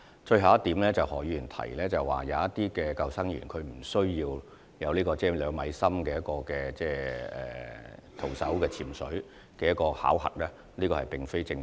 最後，何議員提到有部分救生員無須達到徒手潛水至2米水深處的考核要求，這點並不正確。